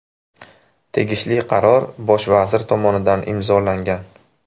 Tegishli qaror bosh vazir tomonidan imzolangan.